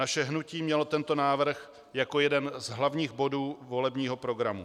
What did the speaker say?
Naše hnutí mělo tento návrh jako jeden z hlavních bodů volebního programu.